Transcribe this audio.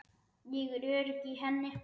Ég er örugg í henni.